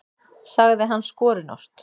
sagði hann skorinort.